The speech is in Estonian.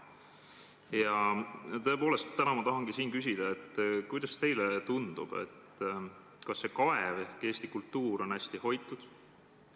Ja tõepoolest täna ma tahangi siin küsida, kuidas teile tundub: kas see kaev ehk eesti kultuur on hästi hoitud?